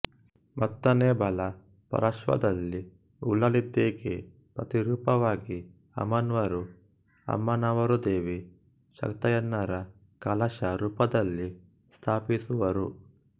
ಮತ್ತರ್ನೆ ಬಲ ಪಾಶ್ರ್ವದಲ್ಲಿ ಉಲ್ಲಾಲ್ದಿಗೆ ಪ್ರತಿರೂಪವಾಗಿ ಅಮ್ನೂರು ಅಮ್ಮನವರುದೇವಿ ಶಕ್ತಯನ್ನಯ ಕಲಶ ರೂಪದಲ್ಲಿ ಸ್ಥಾಪಿಸುವರು